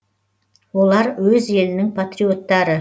олар өз елінің патриоттары